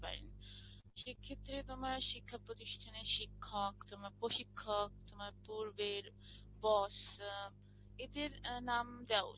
সেক্ষেত্রে তোমার শিক্ষা প্রতিষ্ঠানের শিক্ষক, তোমার প্রশিক্ষক, তোমার পূর্বের boss এদের নাম দেওয়া উচিত।